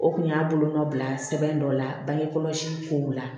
O kun y'a bolonɔ bila sɛbɛn dɔ la bangekɔlɔsi ko la